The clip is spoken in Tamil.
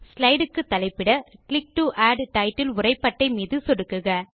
ஸ்லைடு க்கு தலைப்பிட கிளிக் டோ ஆட் டைட்டில் உரை பட்டை மீது சொடுக்குக